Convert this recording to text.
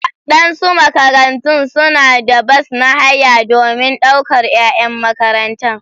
Waɗansu makarantu suna da bas na haya domin daukar 'yan makaranta.